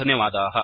धन्यवादाः